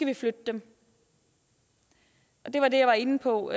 vi flytter dem det var det jeg var inde på